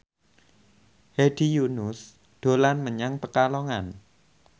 Hedi Yunus dolan menyang Pekalongan